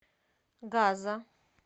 газа